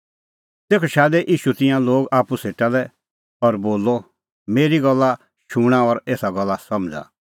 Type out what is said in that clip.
तेखअ शादै ईशू तिंयां लोग आप्पू सेटा लै और बोलअ मेरी गल्ला शूणां और एसा गल्ला समझ़ा